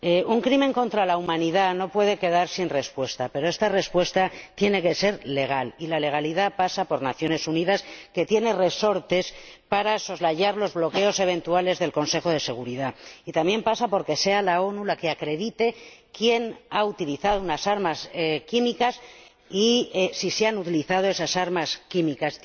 Un crimen contra la humanidad no puede quedar sin respuesta, pero esta respuesta tiene que ser legal, y la legalidad pasa por las Naciones Unidas, que tienen resortes para soslayar los bloqueos eventuales del Consejo de Seguridad, y también pasa por que sean las Naciones Unidas las que acrediten quién ha utilizado armas químicas y si se han utilizado esas armas químicas.